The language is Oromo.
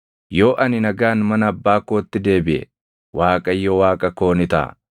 yoo ani nagaan mana abbaa kootti deebiʼe, Waaqayyo Waaqa koo ni taʼa;